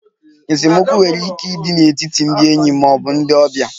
Esemokwu nwere ike ịdị n'etiti ndị enyi ma ọ bụ ndị ọbịa.